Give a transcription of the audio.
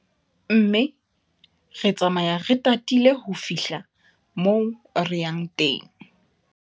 Mme re tsamaya re tatile ho fihla moo re yang teng.